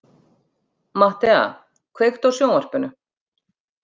Mattea, kveiktu á sjónvarpinu.